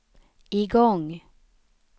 igång